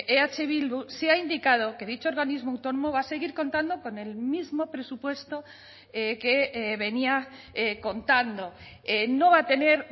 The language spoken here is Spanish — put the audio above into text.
eh bildu se ha indicado que dicho organismo autónomo va a seguir contando con el mismo presupuesto que venía contando no va a tener